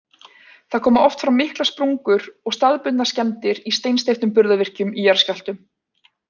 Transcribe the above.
Því koma oft fram miklar sprungur og staðbundnar skemmdir í steinsteyptum burðarvirkjum í jarðskjálftum.